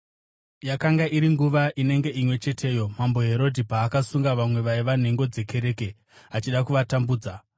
Yakanga iri nguva inenge imwe cheteyo Mambo Herodhi paakasunga vamwe vaiva nhengo dzekereke, achida kuvatambudza.